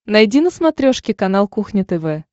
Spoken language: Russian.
найди на смотрешке канал кухня тв